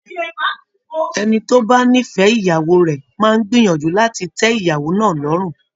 Ẹni tó bá nífẹ̀ẹ́ ìyàwó rẹ̀ máa ń gbìyànjú láti tẹ ìyàwó náà lọ́rùn